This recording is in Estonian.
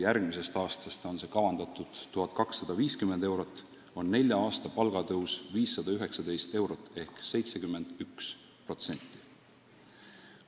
Järgmisest aastast peab see tõusma 1250 euroni, seega on nelja aasta palgatõus 519 eurot ehk 71%.